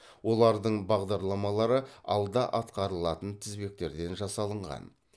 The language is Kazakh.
олардың бағдарламалары алда атқарылатын тізбектерден жасалынған